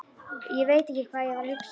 Ég veit ekki hvað ég var að hugsa.